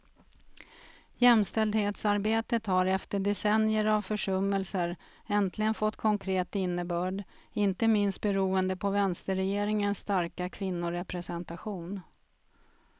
Jämställdhetsarbetet har efter decennier av försummelser äntligen fått konkret innebörd, inte minst beroende på vänsterregeringens starka kvinnorepresentation.